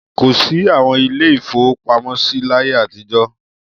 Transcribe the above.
Kò sí àwọn ilé-ìfowópamọ́sí láyé àtijọ́.